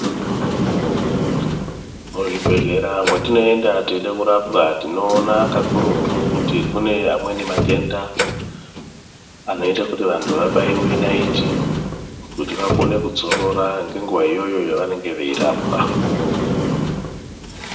Muzvibhehleya mwatinoenda teide kurapwa toona kakurutu kuti kune amweni matenda anoite kuti vantu vabaiwe naiti kuti vakone kudzorora ngenguva iyoyo yavanenge veirapwa.